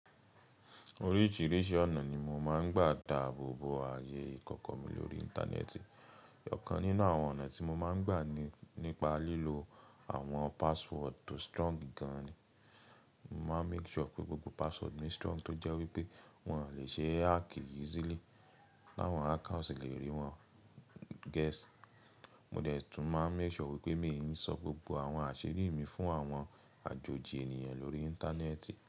Oríṣìíríṣìí ọ̀nà ni mo máa ń gbà dáàbò bo ayé ìkọ̀kọ̀ mi lórí Íńtánẹ́ẹ̀tì. Ọ̀kan nínú àwọn ọ̀nà tí mo máa ń gbà ni nípa lílo àwọn password tó strong gan ni. Mo máa make sure pé gbogbo password mi strong tó jẹ́ wípé wọn ò lè ṣee hack easily. Láwọn hacker o ṣi lè rí wọn guess. Mo dẹ̀ tún máa make sure wípé mi ò ń sọ gbogbo àwọn àṣírí mi fún àwọn àjòjì ènìyàn lórí Íńtánẹ́ẹ̀tì.